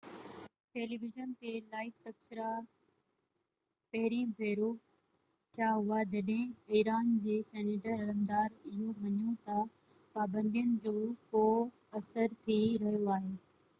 tele vision تي live تبصرا پهرين ڀيرو ٿيا هئا جڏهن ايران جي سينيئر عملدار اهو مڃيو تہ پابندين جو ڪو اثر ٿي رهيو آهي